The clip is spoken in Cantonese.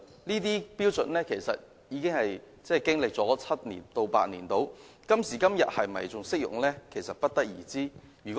這些標準至今已經歷了7至8年，是否仍然適用其實不得而知。